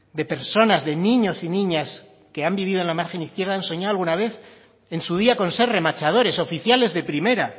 de personas de niños y niñas que han vivido en la margen izquierda han soñado alguna vez en su día de ser remachadores oficiales de primera